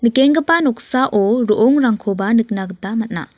noksao ro·ongrangkoba nikna gita man·a.